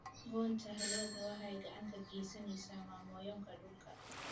Goynta alwaaxda waxay gacan ka geysataa mmomonyoka dhulka.